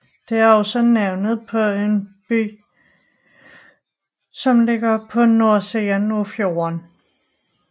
Det er også navnet på en bygd som ligger på nordsiden af fjorden